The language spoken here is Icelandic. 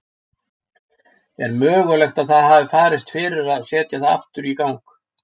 Er mögulegt að það hafi farist fyrir að setja það í gang aftur?